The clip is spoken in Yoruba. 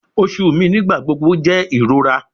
Oṣu mi nigbagbogbo jẹ irora